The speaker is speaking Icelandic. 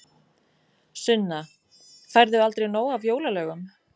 Sunna: Færðu aldrei nóg af jólalögum?